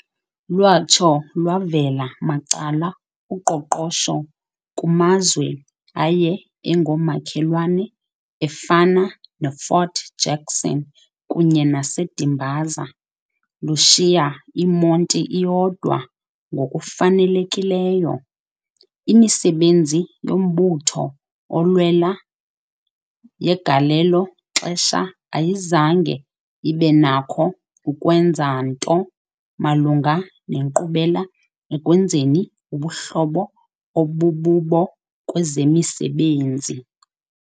Lwatsho lwavela macala uqoqosho kumazwe aye engomakhelwane afana neFort Jackson kunye naseDimbaza, lushiya iMonti iyodwa ngokufanelekileyo. Imisebenzi yombutho olwel yangelo xesha ayizange ibenakho ukwenza nto malunga nenkqubela ekwenzeni ubuhlobo obububo kwezemesebenzi.